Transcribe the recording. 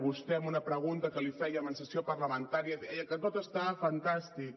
vostè en una pregunta que li fèiem en sessió parlamentària deia que tot està fantàstic